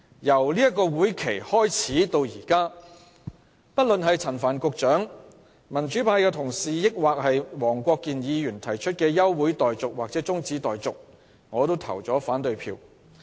由這個會期開始至今，不論是陳帆局長、民主派同事或黃國健議員提出的休會待續或中止待續議案，我都表決反對。